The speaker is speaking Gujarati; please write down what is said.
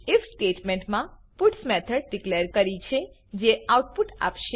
આઇએફ સ્ટેટમેન્ટ મા પટ્સ મેથડ ડીકલેર કરી છે જે આઉટપુટ આપશે